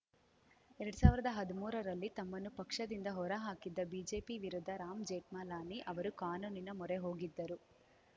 ಎರಡ್ ಸಾವಿರ್ದಾ ಹದ್ಮೂರರಲ್ಲಿ ತಮ್ಮನ್ನು ಪಕ್ಷದಿಂದ ಹೊರ ಹಾಕಿದ್ದ ಬಿಜೆಪಿ ವಿರುದ್ಧ ರಾಮ್‌ ಜೇಠ್ಮಲಾನಿ ಅವರು ಕಾನೂನಿನ ಮೊರೆ ಹೋಗಿದ್ದರು